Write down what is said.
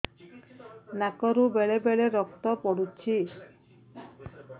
ନାକରୁ ବେଳେ ବେଳେ ରକ୍ତ ପଡୁଛି